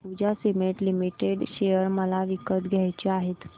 Ambuja cement limited share मला विकत घ्यायचे आहेत